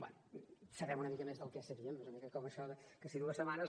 bé sabem una mica més del que sabíem és una mica com això que si dues setmanes